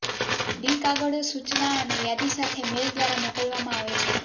D કાગળો સૂચના અને યાદી સાથે મેલ દ્વારા મોકલવામાં આવે છે